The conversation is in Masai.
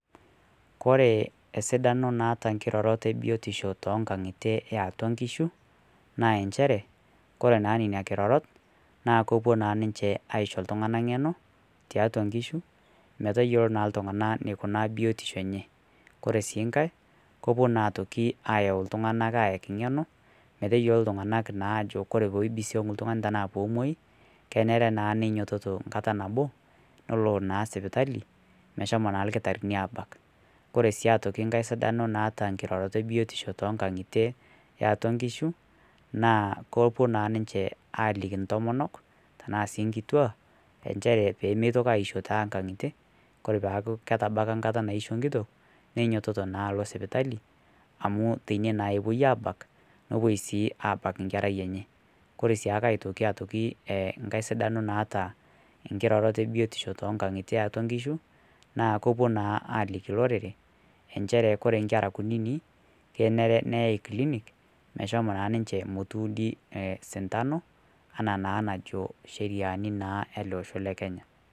Kore esidanoo naata nkirorort ebiotishoo tong'ang'itee eatua nkishuu naa enshere naa kore naa nenia kirorot naa kopuo naa ninshee aisho ltungana ngenoo taatua nkishuu meteyoloo naa ltung'ana neikunaa biotishoo enyee kore sii ng'hai kopuo naa otokii ayau ltung'anak ayakii ng'eno meteyeloo ltunganak naa ajoo kore peibisoguu ltung'ani tanaa peemuai keneree naa neinyototoo nkata naboo neloo naa sipitalii meshomoo naa lkitainii abak kore sii otoki ng'hai sidanoo naata nkirorotoo ebiotishoo tonkag'itee eatua nkishuu naa kepuo naa ninshe aliki ntomonok tana sii nkitua enshere pemeitokii aishoo tankang'itee kore peaku ketabakaa nkataa naisho nkitok neinyototoo naa aloo sipitalii amu teinie naa epuoi abak nopuoi sii abak nkerai enyee kore siake aitokii tokii ee ng'hai sidanoo naata nkirorot ebiotishoo tong'ang'itee eatua nkishuu naa kepuo naa allikii loreree ensheree kore nkeraa kuninii keneree neyai clinic meshomoo naa ninshee motuudi sintanoo anaa naa najoo sheriani naa yalee oshoo le Kenya.